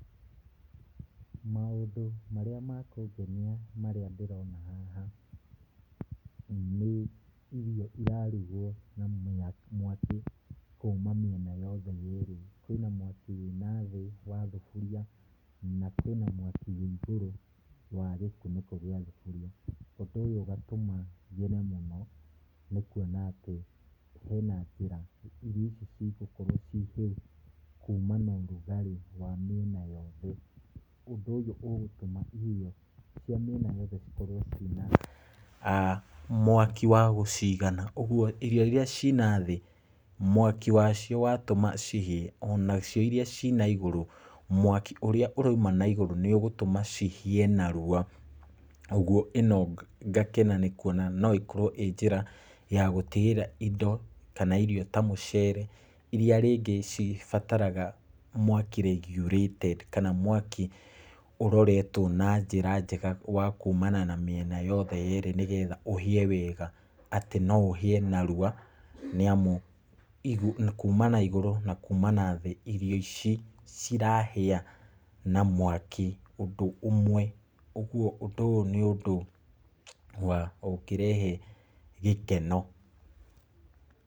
Maũndũ marĩa makũngenia marĩa ndĩrona haha, nĩ irio irarugwo na mĩ na mwaki kuuma mĩena yothe ĩrĩ, kwĩna mwaki wĩna thĩ wa thuburia, na kwĩna mwaki wĩ igũrũ wa gĩkunĩko gĩa thuburia, ũndũ ũyũ ũgatũma ngene mũno nĩ kuona atĩ hena njĩra irio ici igũkorwo cihĩu kuuma na ũrugarĩ wa mĩena yothe, ũndũ ũyũ ũgũtũma irio cia mĩena yothe cikorwo cina, aah, mwaki wa gũcigana, ũguo irio iria cina thĩ, mwaki wacio watũma cihĩe, onacio iria cinaigũrũ, mwaki ũrĩa ũraima na igũrũ, nĩ ũgũtũma cihĩe na ruwa, ũguo ĩno ngakena nĩ kuona no ĩkorwo ĩ njĩra ya gũtigĩrĩra indo kana irio ta mũcere, iria rĩngĩ cibataraga mwaki regulated ,kana mwaki ũroretwo na njĩra njega, wa kuuma na mĩena yothe ĩrĩ, nĩ getha ũhĩe wega, atĩ no ũhĩe narwa, nĩ amu igu kuuma na igũrũ, na kuuma na thĩ, irio ici, cirahĩa na mwaki ũndũ ũmwe, ũguo ũndũ ũyũ nĩ ũndũ wa, ũngĩrehe gĩkeno.